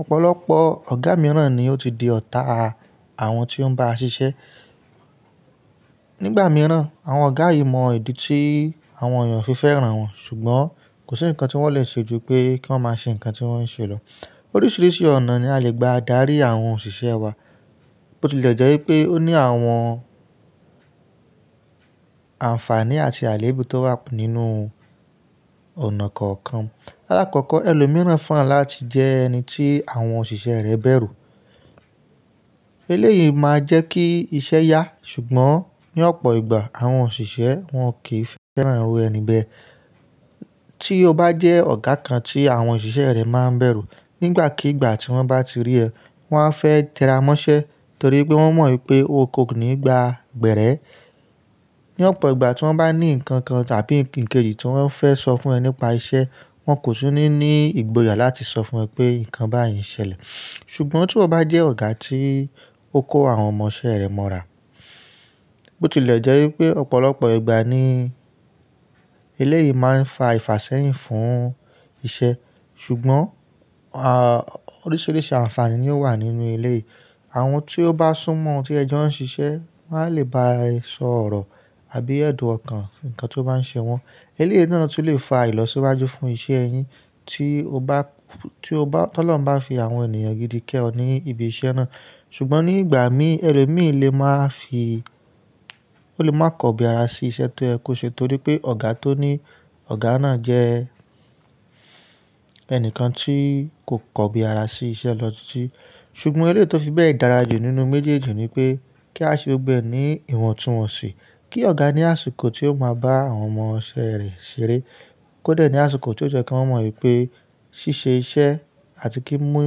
Ọ̀pọ̀lọpọ̀ ọ̀gá mìíràn ni ó ti di ọ̀tá àwọn tí wọ́n bá ṣiṣẹ́. Nígbà mìíràn, àwọn ọ̀gá yìí mọ ìdí tí àwọn èèyàn o fi fẹ́ràn wọn ṣùgbọ́n kò sí ǹkan tí wọ́n lè ṣe ju pé kí wọ́n máa ṣe ǹkan tí wọ́n ń ṣe lọ. Oríṣiríṣi ọ̀nà ni a lè gba darí àwọn òṣìṣẹ́ wa, bó ti lè jẹ́ wípé ó ní àwọn àǹfààní àti àléébù tó wà nínú ọ̀nà kọ̀ọ̀kan. Láàkọ́kọ́, ẹlòmíràn fẹ́ràn láti jẹ ẹni tí àwọn òṣìṣẹ́ rẹ̀ bẹ̀rù. Eléyìí máa ń jẹ́ kí iṣẹ́ yá ṣùgbọ́n ní ọ̀pọ̀ ìgbà àwọn òṣìṣẹ́ wọn kì í fẹ́ràn iru ẹ́ní bẹ̀. Tí o bá jẹ́ ọ̀gá kan tí àwọn òṣìṣẹ́ rẹ máa ń bẹ̀rù, nígbàkígbà tí wọ́n bá ti rí ẹ, wọ́n á fẹ́ tẹra mọ́ṣẹ́ torí pé wọ́n mọ̀ wípé o kò ní gba gbẹ̀rẹ̀. Ní ọ̀pọ̀ ìgbà tí wọ́n bá ní ǹkan kan tàbí èkejì tí wọ́n fẹ́ sọ fún ẹ nípa iṣẹ́, wọ́n kò tún ní ní ìgboyà láti sọ fún ẹ pé ǹkan báyìí ń ṣẹlẹ̀. Ṣùgbọ́n tíwọ bá jẹ́ ọ̀gá tí ó kó àwọn ọmọṣẹ́ rẹ̀ mọ́ra, bó ti lè jẹ́ wípé ọ̀pọ̀lọpọ̀ ìgbà ni eléyìí máa ń fa ìfàṣẹ́yìn fún iṣẹ́ ṣùgbọ́n, à, oríṣiríṣi àǹfààní ni ó wà nínú eléyìí. Àwọn tí ó bá sún mọ́ ọ tí ẹ jọ ń ṣiṣẹ́ wọn á lè bá ẹ sọ ọ̀rọ̀ àbí ẹdùn ọ̀kan ǹkan tí ó bá ń ṣe wọn. Eléyìí náà tún lè fa ìlọsíwájú fún iṣẹ́ ẹ yín tí o bá-- t'ọlọ́un bá fi àwọn ènìyàn gidi kẹ́ ọ ní ibi iṣẹ́ náà. Ṣùgbọ́n nígbà mí, ẹlo míì lè máa fi, ó lè máa kọbi ara sí iṣẹ́ tó yẹ kó ṣe torí pé ọ̀gá tó ní ọ̀gá náà jẹ́ ẹnìkan tí kò kọbi ara sí iṣẹ́ lọ títí. Ṣùgbọ́n eléyìí tó fi bẹ́ẹ̀ dára jù nínú méjèèjì ni pé kí a ṣe gbogbó ẹ́ ní ìwọ̀ntúnwọ̀nsì. Kí ọ̀gá ní àsìkò tí ó máa bá àwọn ọmọṣẹ́ rẹ̀ ṣeré, kó dẹ̀ ní àsìkò tí ó jẹ́ kí wọ́n mọ̀ wípé ṣíṣe iṣẹ́ àti kí múmu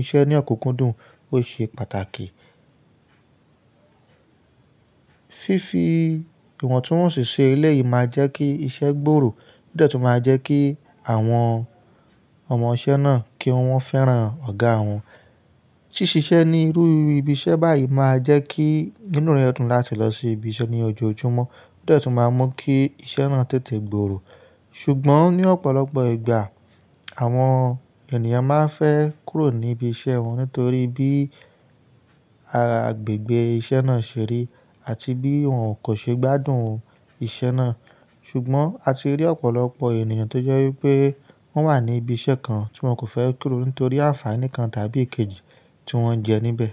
iṣẹ́ ní ọ̀kunkun dùn ó ṣe pàtàkì. Fífi ìwọ̀ntúnwọ̀nsì ṣe eléyìí máa ń jẹ́ kí iṣẹ́ gbòòrò, ó dẹ́ tun máa ń jẹ́ kí àwọn ọmọṣẹ́ náà kí wọ́n fẹ́ràn ọ̀gá wọn. Ṣíṣẹ́ iṣẹ́ ní irú ibi iṣẹ́ báyìí máa ń jẹ́ kí ínú rẹ̀ dun láti lọ sí ibi iṣẹ́ ní ojoojúmọ́, ó dẹ́ tun máa ń mú kí iṣẹ́ náà tètè gbòòrò. Ṣùgbọ́n ní ọ̀pọ̀lọpọ̀ ìgbà, àwọn ènìyàn máa ń fẹ́ kúrò ní ibi iṣẹ́ wọn nítorí bí agbègbè iṣẹ́ náà ṣeri àti bí wọn kò ṣe gbádùn iṣẹ́ náà. Ṣùgbọ́n a ti rí ọ̀pọ̀lọpọ̀ ènìyàn tó jẹ́ wípé wọ́n wà ní ibi iṣẹ́ kan tí wọn kò fẹ́ kúrò nítorí àǹfààní kan tàbí èkejì tí wọ́n ń jẹ níbẹ̀.